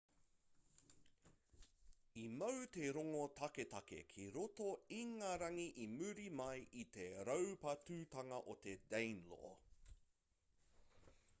i mau te rongo taketake ki roto ingarangi i muri mai i te raupatutanga o te danelaw